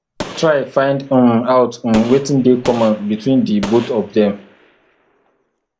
try find um out um wetin de common between di both of dem